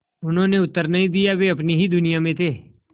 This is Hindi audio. उन्होंने उत्तर नहीं दिया वे अपनी ही दुनिया में थे